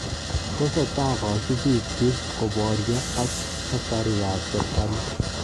Tesetai kasubiil chiik koboryo ak askariik ab serkali